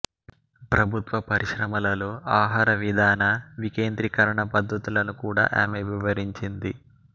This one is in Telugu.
ప్రభుత్వ పరిశ్రమలలో ఆహారవిధాన వికేంద్రీకరణ పద్ధతులను కూడా ఆమె వివరించింది